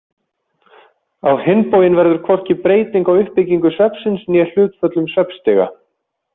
Á hinn bóginn verður hvorki breyting á uppbyggingu svefnsins né hlutföllum svefnstiga.